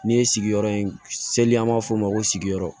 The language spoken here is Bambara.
Ne ye sigiyɔrɔ in seli an b'a fɔ o ma ko sigiyɔrɔ